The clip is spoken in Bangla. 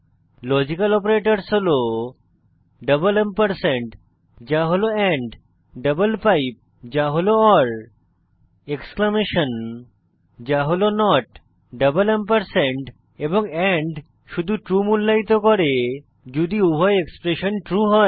লজিক্যাল অপারেটরসহ হল ডাবল এম্পারস্যান্ড যা হল এন্ড ডাবল পাইপ যা হল ওর এক্সক্লেমেশন যা হল নট ডাবল এম্পারস্যান্ড এবং এন্ড শুধু ট্রু মূল্যায়িত করে যদি উভয় এক্সপ্রেশন ট্রু হয়